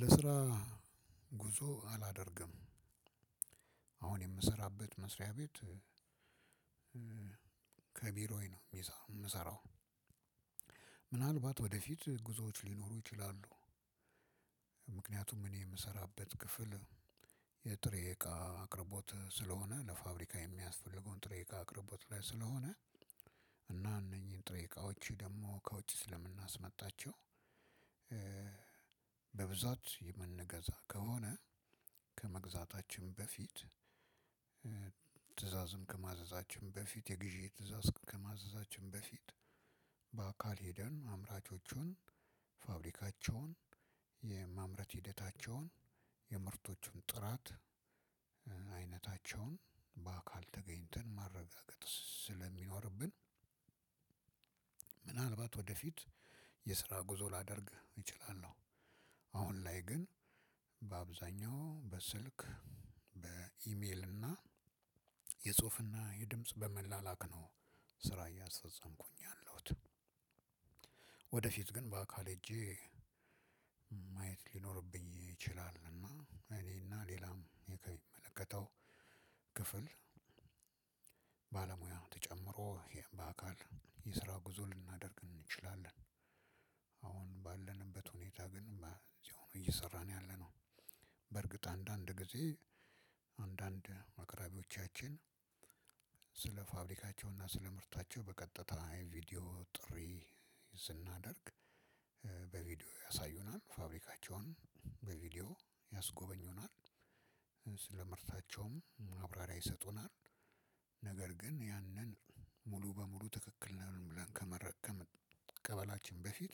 ለስራ ጉዞ አላደርግም። አሁን የምሰራበት መስሪያ ቤት ከቢሮዬ ነው የምሰራው። ምናልባት ወደፊት ጉዞዎች ሊኖሩ ይችላሉ። ምክንያቱም እኔ የምሰራበት ክፍል የጥሬ እቃ አቅርቦት ስለሆነ ለፋብሪካ የሚያስፈልገውን ጥሬ እቃ አቅርቦት ላይ ስለሆነ እና እነኚህን ጥሬ እቃዎች ደግሞ ከውጪ ስለምናስመጣቸው። በብዛት የምንገዛ ከሆነ ከመግዛታችን በፊት ትዕዛዝም ከማዘዛችን በፊት የግዢ ትእዛዝ ከማዘዛችን በፊት በአካል ሄደን አምራቾቹን ፋብሪካቸውን የማምረት ሂደታቸውን የምርቶቹን ጥራት አይነታቸውን በአካል ተገኝተን ማረጋገጥ ስለሚኖርብን። ምናልባት ወደፊት የስራ ጉዞ ላደርግ እችላለሁ። አሁን ላይ ግን በአብዛኛው በስልክ በኢሜል እና የጽሁፍና የድምጽ በመላላክ ነው ስራ እያሰጸምኩኝ ያለሁት። ወደፊት ግን በአካል ሄጄ ማየት ሊኖርብኝ ይችላል እና እኔና ሌላም የሚመለከተው ክፍል ባለሙያ ተጨምሮ በአካል የስራ ጉዞ ልናደርግ እንችላለን። አሁን ባለንበት ሁኔታ ግን እዚሁ ሆኖ እየሰራን ያለነው። በርግጥ አንዳንድ ጊዜ አንዳንድ አቅራቢወቻችን ስለ ፋብሪካቸው እና ስለ ምርታቸው በቀጥታ የቪዲዮ ጥሪ ስናደርግ በቪዲዮ ያሳዩናል ፋብሪካቸውን በቪዲዮ ያስጎበኙናል። ምርታቸውም ማብራሪያ ይሰጡናል። ነገር ግን ያንን ሙሉ በሙሉ ትክክል ነን ብለን ከመቀበላችን በፊት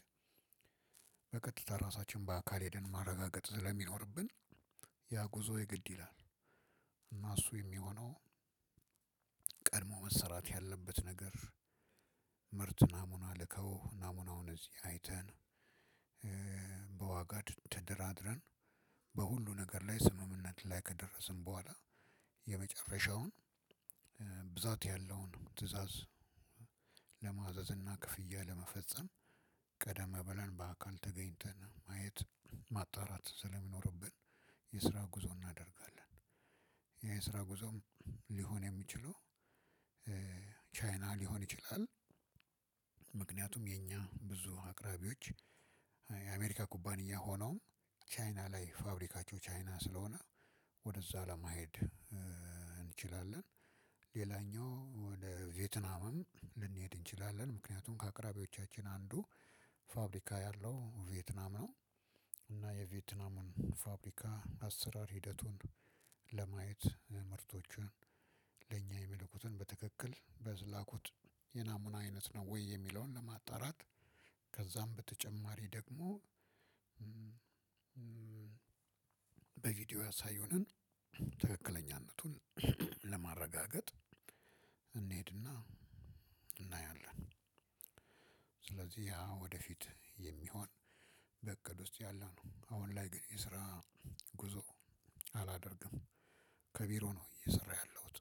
በቀጥታ ራሳችን በአካል ሄደን ማረጋገጥ ስለሚኖርብን። ያ ጉዞ የግድ ይላል። እና እሱ የሚሆነው ቀድሞ መሰራት ያለበት ነገር ምርት ናሙና ልከው ናሙናውን እዚህ አይተን። በዋጋ ተደራድረን በሁሉም ነገር ላይ ስምምነት ላይ ከደረስን በኋላ የመጨረሻውን ብዛት ያለውን ትእዛዝ ለማዘዝ እና ክፍያ ለመፈጸም ቀደም ብለን በአካል ተገኝተን ማየት ማጣራት ስለሚኖርብን የስራ ጉዞ እናደርጋለን። የስራ ጉዞም ሊሆን የሚችለው ቻይና ሊሆን ይችላል። ምክንያቱም የኛ ብዙ አቅራቢዎች የአሜሪካ ኩባንያ ሆነውም ቻይና ላይ ፋብሪካቸው ቻይና ስለሆነ ወደዛ ለመሄድ እንችላለን። ሌላኛው ወደ ቬትናምም ልንሄድ እንችላለን ምክንያቱም ከአቅራቢወቻችን አንዱ ፋብሪካ ያለው ቬትናም ነው። እና የቬትናሙን የፋብሪካ አሰራር ሂደቱን ለማየት ምርቶቹን ለእኛ የሚልኩትን በትክክል በዝላኩት የናሙና አይነት ነው ወይ የሚለውን ለማጣራት? ከዛም በተጨማሪ ደግሞ በቪዲዮ ያሳዩንን ትክክለኛነቱን ለማረጋገጥ እንሄድና እናያለን። ስለዚህ ያ ወደፊት የሚሆን በእቅድ ውስጥ ያለነው አሁን ላይ ግን የስራ ጉዞ አላደርግም። ከቢሮ ነው እየሰራሁ ያለሁት